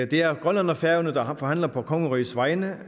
det er grønland og færøerne der forhandler på kongerigets vegne